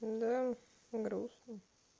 да грустно